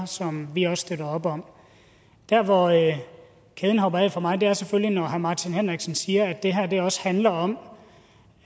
som vi også støtter op om der hvor kæden hopper af for mig er selvfølgelig når herre martin henriksen siger at det her også handler om